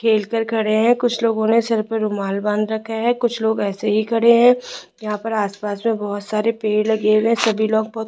खेल कर खड़े हुए हैं कुछ लोगों ने सिर पर रूमाल बांध रखा है कुछ लोग ऐसे ही खड़े हैं यहां पर आस-पास में बहोत सारे पेड़ लगे हुए हैं सभी लोग बहोत --